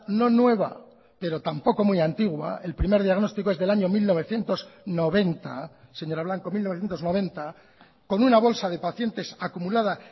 no nueva pero tampoco muy antigua el primer diagnóstico es del año mil novecientos noventa señora blanco mil novecientos noventa con una bolsa de pacientes acumulada